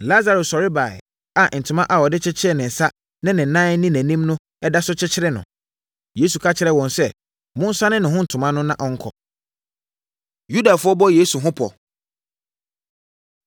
Lasaro sɔre baeɛ a ntoma a wɔde kyekyeree ne nsa ne ne nan ne nʼanim no da so kyekyere no. Yesu ka kyerɛɛ wɔn sɛ, “Monsane ne ho ntoma no na ɔnkɔ.” Yudafoɔ Bɔ Yesu Ho Pɔ